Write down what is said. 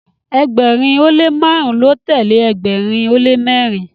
ẹgbẹrin o le marun ló telee ẹgbẹrin o le mẹrin